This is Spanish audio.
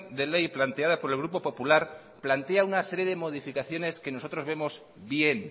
de ley planteada por el grupo popular plantea una serie de modificaciones que nosotros vemos bien